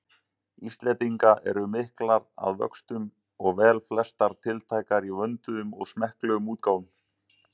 Íslendinga eru miklar að vöxtum og velflestar tiltækar í vönduðum og smekklegum útgáfum.